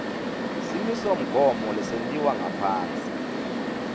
simisomgomo lesentiwe ngaphasi